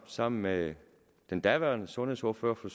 sammen med den daværende sundhedsordfører for